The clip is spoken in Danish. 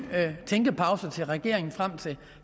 tænkepause til regeringen frem til